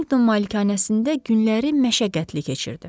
Harrington malikanəsində günləri məşəqqətli keçirdi.